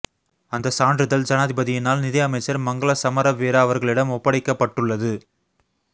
அந்த சான்றிதழ் ஜனாதிபதியினால் நிதி அமைச்சர் மங்கள சமரவீர அவர்களிடம் ஒப்படைக்கப்பட்டுள்ளது